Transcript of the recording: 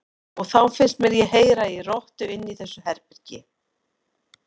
Og þá fannst mér ég heyra í rottu inni í þessu herbergi.